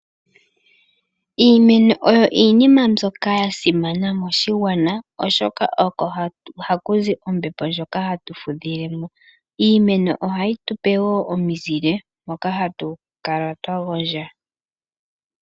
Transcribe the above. Iimeno oyo iinima mbyoka yasimana moshigwana oshoka oko haku zi ombepo ndjoka hatu fudhile mo. Iimeno ohayi tu pe woo omizile moka hatu gondjo.